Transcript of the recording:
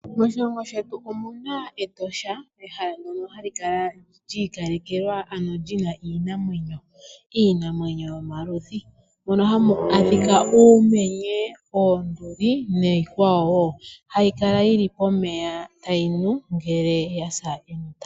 Moshilongo shetu omuna Etosha ehala ndono hali kala lyi ikalekelwa ano lyina iinamwenyo. Iinamwenyo yomaludhi mono hamu adhika uumenye, oonduli niikwawo wo hayi kala yi li pomeya tayi nu ngele yasa enota.